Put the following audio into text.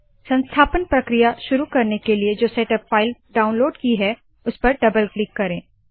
संस्थापन प्रक्रिया शुरू करने के लिए जो सेटअप फाइल डाउनलोड की है उसपर डबल क्लिक करे